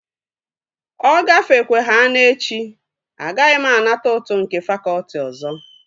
Ọ gafekwehana echi, agaghị m anata ụtụ nke fakọtị ọzọ